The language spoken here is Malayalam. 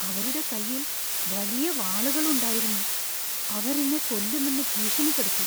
അവരുടെ കൈയിൽ വലിയ വാളുകളുണ്ടായിരുന്നു, അവർ എന്നെ കൊല്ലുമെന്ന് ഭീഷണിപ്പെടുത്തി.